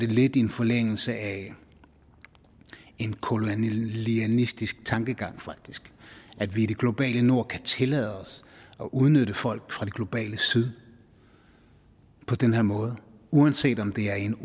lidt i en forlængelse af en kolonialistisk tankegang at vi i det globale nord kan tillade os at udnytte folk fra det globale syd på den her måde uanset om det er i en